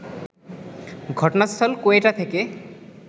ঘটনাস্থল কোয়েটা থেকে